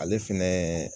Ale fɛnɛ